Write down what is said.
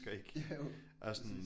Jo præcis